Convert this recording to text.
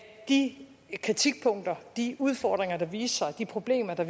de kritikpunkter de udfordringer der viste sig de problemer der